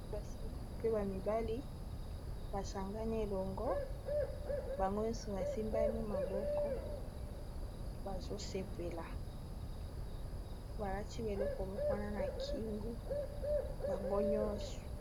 babasi mpe bamibali basangani elongo bango nyonso basimbani maboko bazosepela balaki beleko mokwana na kingu bango nyonso